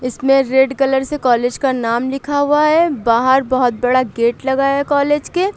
इसमें red colour से college का नाम लिखा हुआ है बाहर बहुत बड़ा गेट लगा है कॉलेज के।